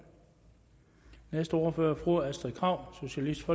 næste ordfører er fru astrid krag socialistisk